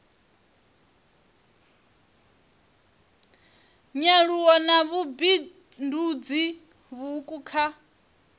nyaluwo na vhubindudzi vhuuku kha